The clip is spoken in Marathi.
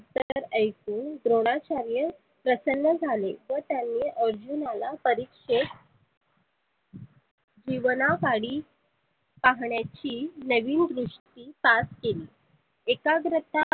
उत्तर ऐकुन द्रोनाचार्य प्रसन्न झाले व त्यांनी अर्जुनला परिक्षेत जीवना पाडी पाहण्याची नवीन दृष्टी सार केली. एकाग्रता